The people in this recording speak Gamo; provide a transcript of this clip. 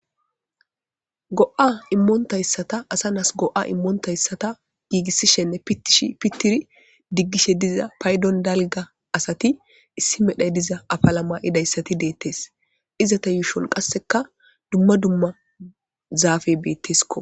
Go'a immontayssata asa nas go'a immontayssata giigissishenne itish pittiri diggishe diza paydon dalga asati issi medhay diza afalama idayssati deettes izata yuushon qasseka dumma dumma zaafe beettesko.